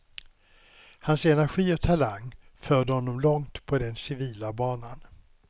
Hans energi och talang förde honom långt på den civila banan.